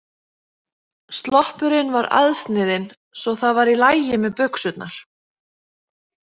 Sloppurinn var aðsniðinn svo það var í lagi með buxurnar.